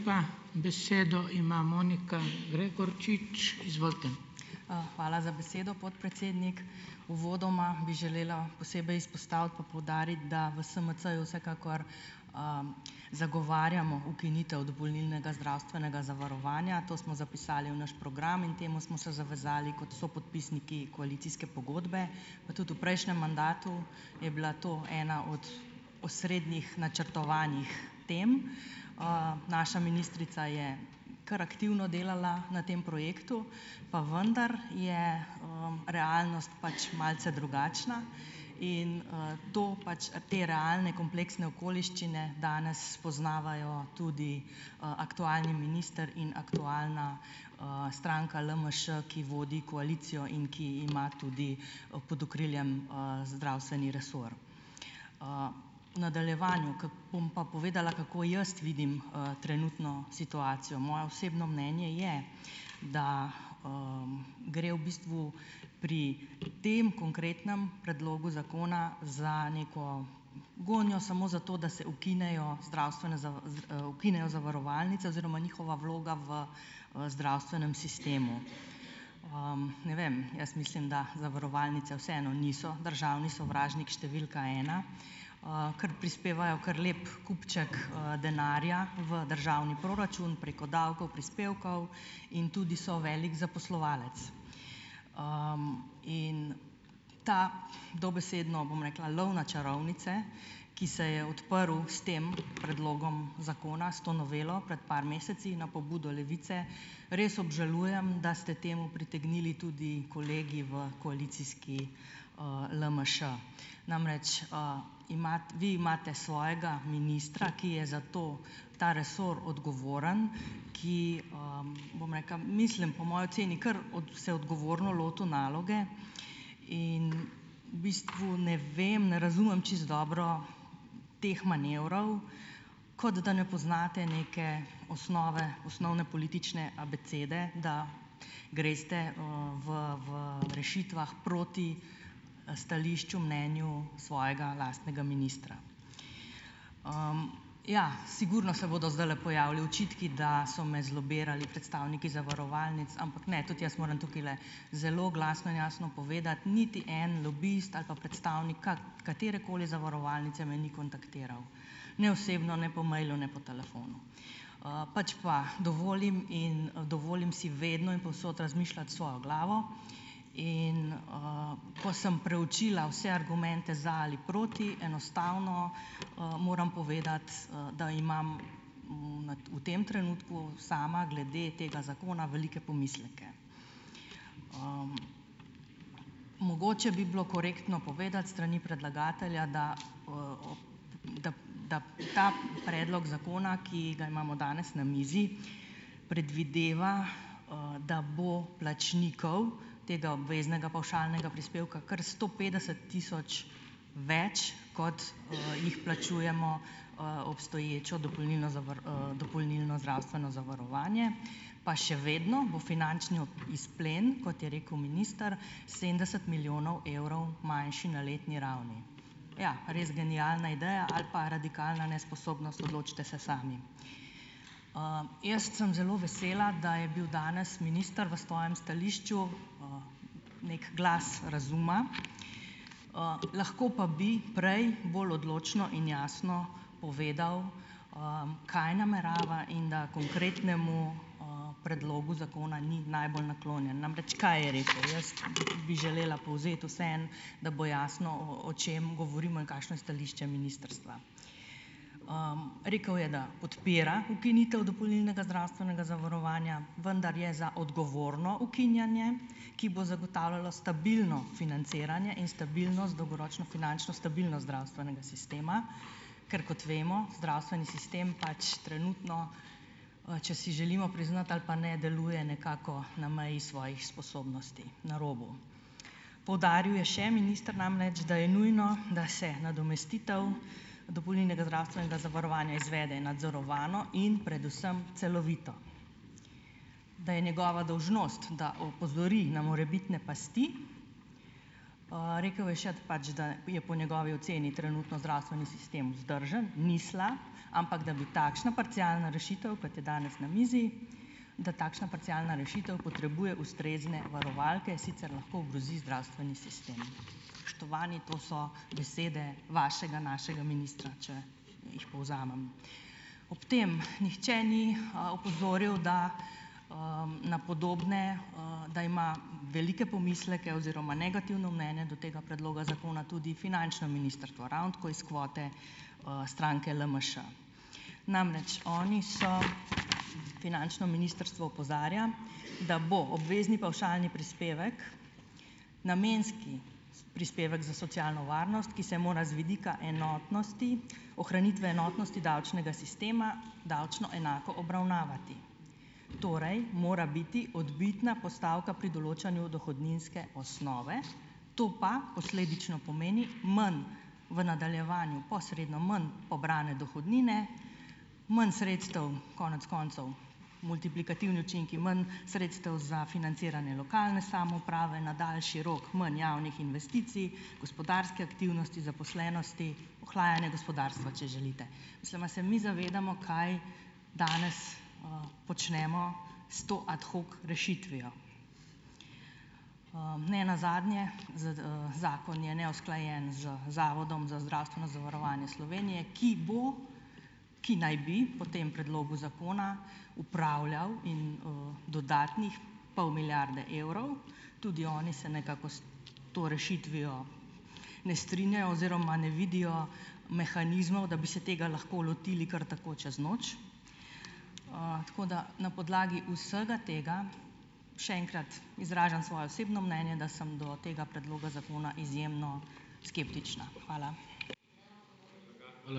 Hvala za besedo, podpredsednik. Uvodoma bi želela posebej izpostaviti pa poudariti, da v SMC-ju vsekakor, zagovarjamo ukinitev dopolnilnega zdravstvenega zavarovanja. To smo zapisali v naš program in temu smo se zavezali kot sopodpisniki koalicijske pogodbe. Pa tudi v prejšnjem mandatu je bila to ena od osrednjih načrtovanih tem. Naša ministrica je kar aktivno delala na tem projektu, pa vendar je, realnost pač malce drugačna. In, to, pač te realne kompleksne okoliščine danes spoznavajo tudi, aktualni minister in aktualna, stranka LMŠ, ki vodi koalicijo in ki ima tudi, pod okriljem, zdravstveni resor. V nadaljevanju bom pa povedala, kako jaz vidim, trenutno situacijo. Moje osebno mnenje je, da, gre v bistvu pri tem konkretnem predlogu zakona za neko gonjo samo zato, da se ukinejo zdravstvene ukinejo zavarovalnice oziroma njihova vloga v, zdravstvenem sistemu. Ne vem, jaz mislim, da zavarovalnice vseeno niso državni sovražnik številka ena, ker prispevajo kar lep kupček, denarja v državni proračun preko davkov, prispevkov in tudi so velik zaposlovalec. In ta dobesedno, bom rekla, lov na čarovnice, ki se je odprl s tem predlogom zakona, s to novelo pred par meseci na pobudo Levice, res obžalujem, da ste temu pritegnili tudi kolegi v koalicijski, LMŠ. Namreč, vi imate svojega ministra, ki je za to ta resor odgovoren, ki, bom rekla, mislim, po moji oceni, kar se odgovorno lotil naloge in v bistvu ne vem, ne razumem čisto dobro teh manevrov, kot da ne poznate neke osnove osnovne politične abecede, da greste, v, v rešitvah proti stališču, mnenju svojega lastnega ministra. Ja, sigurno se bodo zdajle pojavili očitki, da so me zlobirali predstavniki zavarovalnic, ampak ne, tudi jaz moram tukajle zelo glasno in jasno povedati: niti en lobist ali pa predstavnik katerekoli zavarovalnice me ni kontaktiral ne osebno, ne po mailu, ne po telefonu, pač pa dovolim in dovolim si vedno in povsod razmišljati s svojo glavo, in, ko sem preučila vse argumente za ali proti, enostavno, moram povedati, da imam v tem trenutku sama glede tega zakona velike pomisleke. Mogoče bi bilo korektno povedati s strani predlagatelja, da da da ta predlog zakona, ki ga imamo danes na mizi, predvideva, da bo plačnikov tega obveznega pavšalnega prispevka kar sto petdeset tisoč, več kot jih plačujemo, obstoječo dopolnilno dopolnilno zdravstveno zavarovanje, pa še vedno bo finančni izplen, kot je rekel minister, sedemdeset milijonov evrov manjši na letni ravni, ja, res genialna ideja ali pa radikalna nesposobnost, odločite se sami. Jaz sem zelo vesela, da je bil danes minister v svojem stališču neki glas razuma, lahko pa bi prej bolj odločno in jasno povedal, kaj namerava in da konkretnemu, predlogu zakona ni najbolj naklonjen. Namreč, kaj je rekel? Jaz bi želela povzeti vseeno, da bo jasno, o, o čem govorimo in kakšno je stališče ministrstva. Rekel je, da podpira ukinitev dopolnilnega zdravstvenega zavarovanja, vendar je za odgovorno ukinjanje, ki bo zagotavljalo stabilno financiranje in stabilnost, dolgoročno finančno stabilnost zdravstvenega sistema, ker, kot vemo, zdravstveni sistem pač trenutno, če si želimo priznati ali pa ne, deluje nekako na meji svojih sposobnosti, na robu. Poudaril je še minister, namreč da je nujno, da se nadomestitev dopolnilnega zdravstvenega zavarovanja izvede nadzorovano in predvsem celovito. Da je njegova dolžnost, da opozori na morebitne pasti, rekel je še, pač da je po njegovi oceni trenutno zdravstveni sistem vzdržen, ni slab, ampak da bi takšna parcialna rešitev, kot je danes na mizi, da takšna parcialna rešitev potrebuje ustrezne varovalke, sicer lahko ogrozi zdravstveni sistem. Spoštovani, to so besede vašega, našega ministra, če jih povzamem. Ob tem nihče ni, opozoril, da, na podobne, da ima velike pomisleke oziroma negativno mnenje do tega predloga zakona tudi finančno ministrstvo, ravno tako iz kvote, stranke LMŠ. Namreč, oni so, finančno ministrstvo opozarja, da bo obvezni pavšalni prispevek, namenski prispevek za socialno varnost, ki se mora z vidika enotnosti ohranitve enotnosti davčnega sistema davčno enako obravnavati. Torej mora biti odbitna postavka pri določanju dohodninske osnove, to pa posledično pomeni manj, v nadaljevanju, posredno manj pobrane dohodnine, manj sredstev konec koncev multiplikativni učinki, manj sredstev za financiranje lokalne samouprave na daljši rok manj javnih investicij, gospodarske aktivnosti, zaposlenosti, ohlajanja gospodarstva, če želite. Mislim, a se mi zavedamo, kaj danes, počnemo s to ad hoc rešitvijo. Nenazadnje, zakon je neusklajen z Zavodom za zdravstveno zavarovanje Slovenije, ki bo, ki naj bi po tem predlogu zakona upravljal in, dodatnih pol milijarde evrov, tudi oni se nekako s to rešitvijo ne strinjajo oziroma ne vidijo mehanizmov, da bi se tega lahko lotili kar tako čez noč. Tako da na podlagi vsega tega, še enkrat, izražam svoje osebno mnenje, da sem do tega predloga zakona izjemno skeptična. Hvala.